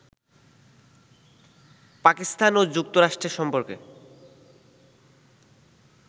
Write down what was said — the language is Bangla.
পাকিস্তান ও যুক্তরাষ্ট্রের সম্পর্কে